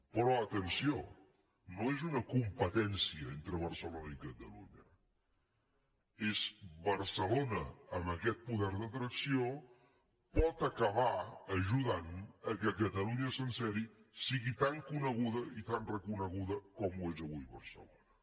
però atenció no és una competència entre barcelona i catalunya és barcelona amb aquest poder d’atracció pot acabar ajudant que catalunya sencera sigui tan coneguda i tan reconeguda com ho és avui barcelona